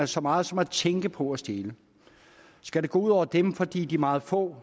så meget som at tænke på at stjæle skal det gå ud over dem fordi de meget få